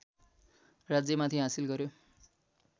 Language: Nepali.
राज्यमाथि हासिल गर्‍यो